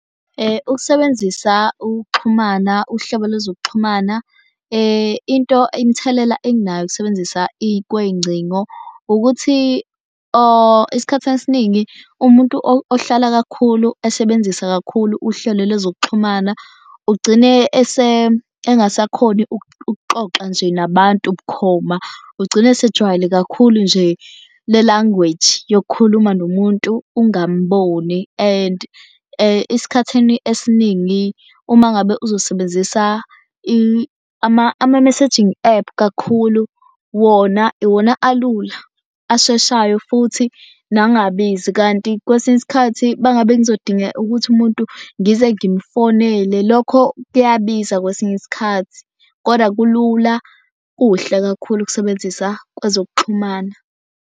Ukusebenzisa ukuxhumana uhlobo lwezokuxhumana into imithelela enginayo ukusebenzisa kwey'ngcingo ukuthi isikhathini esiningi umuntu ohlala kakhulu esebenzisa kakhulu uhlelo lwezokuxhumana ugcine engasakhoni ukuxoxa nje nabantu bukhoma. Ugcine asejwayele kakhulu nje le language yokukhuluma nomuntu ungamboni and esikhathini esiningi uma ngabe uzosebenzisa ama-messaging app kakhulu, wona iwona alula asheshayo futhi nangabizi. Kanti kwesinye isikhathi bangabe kuzodinga ukuthi umuntu ngize ngimufonele lokho kuyabiza kwesinye isikhathi. Koda kulula kuhle kakhulu ukusebenzisa kwezokuxhumana.